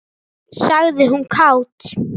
sagði hún kát.